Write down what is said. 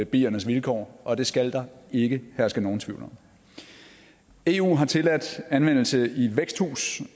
biernes vilkår og det skal der ikke herske nogen tvivl om eu har tilladt anvendelse i væksthus